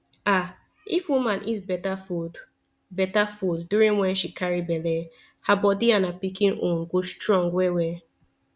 ah if woman eat better food better food during wen she carry belle her body and her pikin own go strong well well